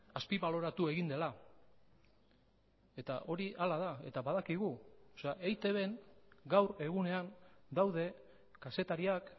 azpibaloratu egin dela eta hori hala da eta badakigu eitbn gaur egunean daude kazetariak